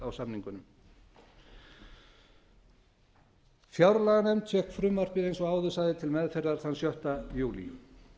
á samningunum fjárlaganefnd fékk frumvarpið eins og áður sagði til meðferðar þann sjötta júlí